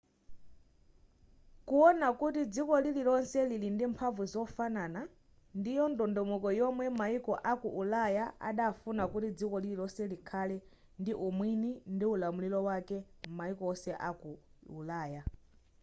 kuona kuti dziko lililonse lili ndi mphamvu zofanana ndiyo ndondomeko yomwe mayiko aku ulaya adafuna kuti dziko lililonse likhale ndi umwini ndi ulamuliro wake m'mayiko onse aku ulaya